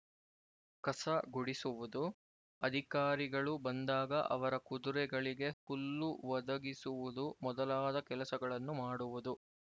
ಕಸ ಗುಡಿಸುವುದು ಅಧಿಕಾರಿಗಳು ಬಂದಾಗ ಅವರ ಕುದುರೆಗಳಿಗೆ ಹುಲ್ಲು ಒದಗಿಸುವುದು ಮೊದಲಾದ ಕೆಲಸಗಳನ್ನು ಮಾಡುವುದು